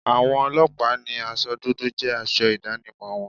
Àwọn ọlọ́pàá ni aṣọ dúdú jẹ́ aṣọ ìdánimọ̀ wọn.